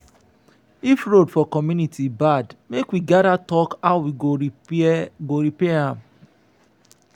if road for community bad make we gather talk how we go repair go repair am.